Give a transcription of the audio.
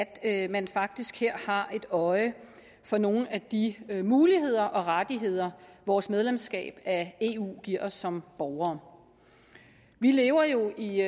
at man faktisk her har øje for nogle af de muligheder og rettigheder vores medlemskab af eu giver os som borgere vi lever jo i